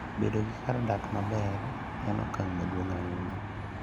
Bedo gi kar dak maber en okang' maduong' ahinya.